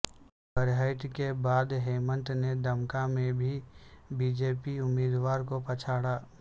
برہیٹ کے بعد ہیمنت نے دمکا میں بھی بی جے پی امیدوار کو پچھاڑا